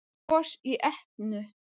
Gos í Etnu